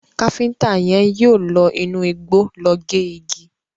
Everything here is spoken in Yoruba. Kafiñta yén yíò ló inú igbó ló gé igi.